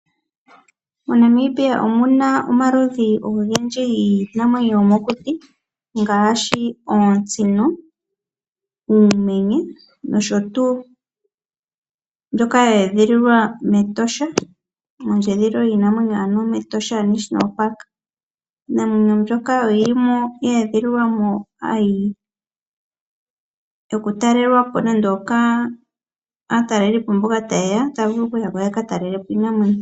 MoNamibia omuna omaludhi ogendji giinamwenyo yomokuti ngaashi oosino, uumenye nosho tu. Mbyoka ya edhililwa mEtosha mondjedhililo yiinamwenyo ano mEtosha National Park. Iinamwenyo mbyoka oyi limo ya edhililwa mo yo ku talelwa po kaatalelipo mboka ta ye ya okutala iinamwenyo.